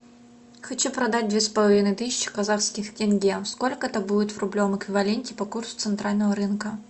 хочу продать две с половиной тысячи казахских тенге сколько это будет в рублевом эквиваленте по курсу центрального рынка